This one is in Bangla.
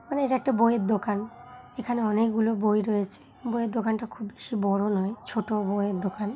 আরে এটা একটা বইয়ের দোকান। এখানে অনেক গুলো বই রয়েছে। বইয়ের দোকান টা খুব বেশি বড় নয়। ছোট বইয়ের দোকান।